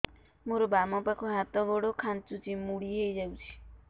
ମୋର ବାମ ପାଖ ହାତ ଗୋଡ ଖାଁଚୁଛି ମୁଡି ହେଇ ଯାଉଛି